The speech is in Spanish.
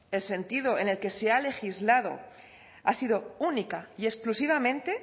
el sentido en el que se ha legislado ha sido única y exclusivamente